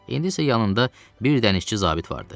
İndi isə yanında bir dənizçi zabit vardı.